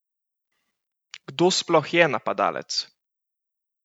Kdo sploh je napadalec?